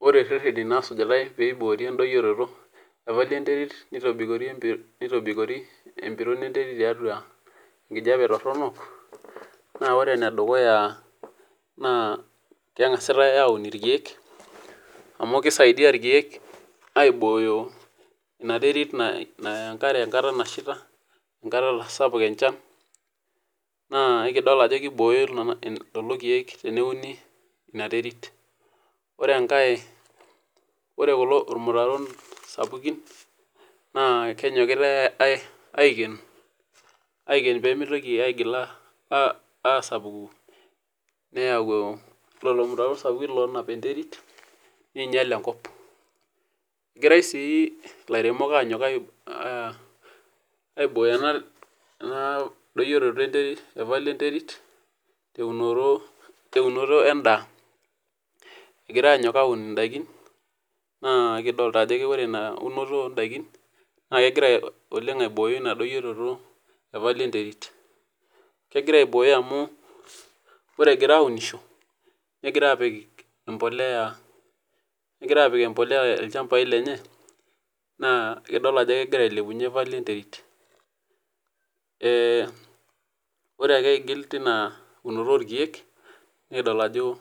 Ore rreteni nasujutae peiboori endoyioroto evalio enterit neitobikori empiron enterit tiatua enkijape torronok naa ore ene dukuya kengasitae aun irkeek amu keisaiyia irkeek aibooyo ina territ naya enkare enkata nasheita, enkata natasapuka enchan naa ikidol ajo keibooyo lelo irkeek teneuni ina territ. Ore enkae, ore kulo mularon sapukin naa kenyokitae aiken, aiken pemeitoki aigil aasapuku neyau lelo muruau sapuki loonap enterit neinyal enkop, egirai sii ilairemok agira aibooyo ena doyioroto enterit evalio enterit teunoto, teunoto endaa, egirai aanyok aun indaki, naa kidolita ore ina unoto oondakin naa kegira oleng aibooyo ina doyioroto evalio enterit, kegira aibooyo amu ore egira aunisho, negira aapik empolea, negira aapik empolea ilchambai lenye, naa idol ajo kegira ailepunye valio enterit. Ore ake aigil teina eunoto oo irkeek, nikidol ajo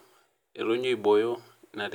etonyua aibooyo ina terit.